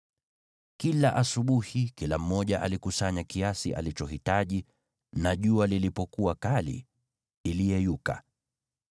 Kila asubuhi, kila mmoja alikusanya kiasi alichohitaji na jua lilipokuwa kali, iliyeyuka.